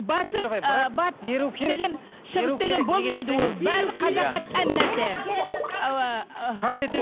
батыс ы батыс деген шығыс деген болмайды ол бәрі қазаққа тән нәрсе